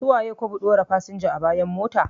Su waye ko ɓɗora kayan fasinja a bayan mota?